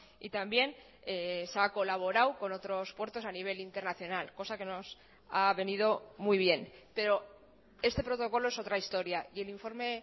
y también se ha colaborado con otros puertos a nivel internacional cosa que nos ha venido muy bien pero este protocolo es otra historia y el informe